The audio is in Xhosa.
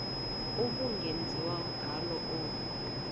ubungenziwa ngalo olu